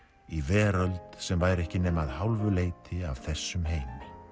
í veröld sem væri ekki nema að hálfu leyti af þessum heimi